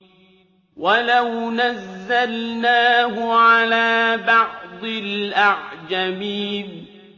وَلَوْ نَزَّلْنَاهُ عَلَىٰ بَعْضِ الْأَعْجَمِينَ